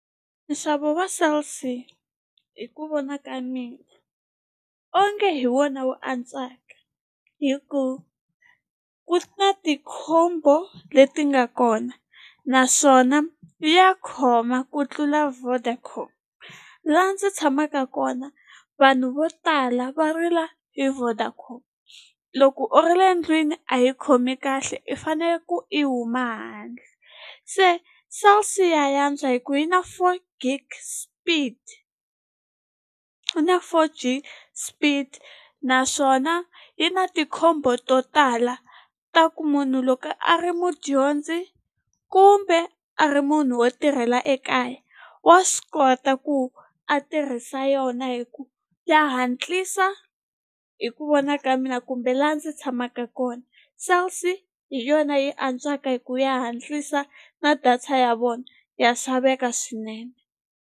Nxavo wa Cell C hi ku vona ka mina onge hi wona wu antswaka hi ku ku na ti-combo leti nga kona naswona ya khoma ku tlula Vodacom la ndzi tshamaka kona vanhu vo tala va rila hi Vodacom loko u ri le ndlwini a yi khomi kahle i fanele ku i huma handle se Cell C ya ya antswa hi ku yi na four gig speed yina four G speed naswona yi na ti-combo to tala ta ku munhu loko a ri mudyondzi kumbe a ri munhu wo tirhela ekaya wa swi kota ku a tirhisa yona hi ku ya hatlisa hi ku vona ka mina kumbe la ndzi tshamaka kona Cell C hi yona yi antswaka hi ku ya hatlisa na data ya vona ya xaveka swinene.